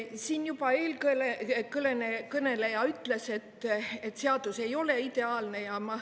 Siin juba eelkõneleja ütles, et seadus ei ole ideaalne.